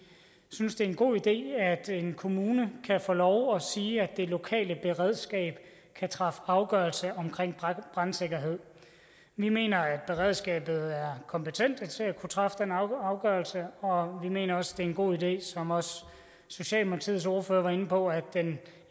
synes det er en god idé at en kommune kan få lov at sige at det lokale beredskab kan træffe afgørelser om brandsikkerhed vi mener at beredskabet er kompetent til at kunne træffe den afgørelse og vi mener også det er en god idé som også socialdemokratiets ordfører var inde på at den